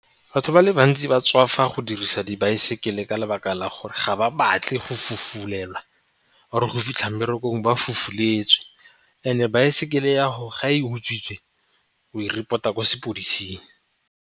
Batho ba le bantsi ba tswafa go dirisa dibaesekele ka lebaka la gore ga ba batle go fofulelwa or-e go fitlha mmerekong ba fufuletswe and-e baesekele ya go ga e utswitswe o e report-a sepodising.